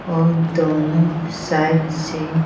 और दोनों साइड से।